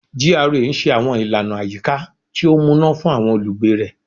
GRA n ṣe àwọn ìlànà àyíká tí ó múná fún àwọn olùgbé rẹ